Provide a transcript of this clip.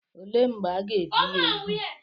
Olee mgbe aga-ebi ya úgwù?